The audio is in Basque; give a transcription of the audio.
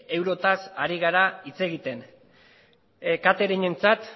eurotaz ari gara hitz egiten cateringentzat